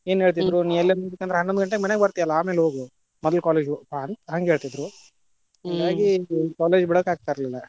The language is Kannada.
College ಬಿಡಕ್ಕ ಆಗತಿರ್ಲಿಲ್ಲಾ.